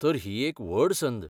तर ही एक व्हड संद.